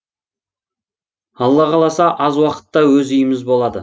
алла қаласа аз уақытта өз үйіміз болады